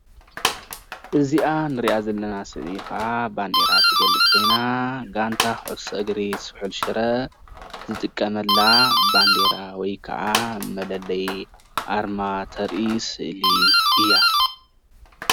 እዚኣ እንሪኣ ዘለና ስእሊ ከዓ ባንዴራ እትገልፅ ኮይና ጋንታ ኩዕሶ እግሪ ስሑል ሽረ ዝጥቀመላ ባንዴራ ወይ ከዓ መለለይ ኣርማ ተርኢ ስእሊ እያ፡፡